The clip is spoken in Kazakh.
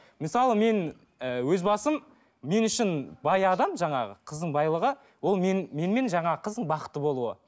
мысалы мен і өз басым мен үшін баяғыдан жаңағы қыздың байлығы ол менімен жаңағы қыздың бақытты болуы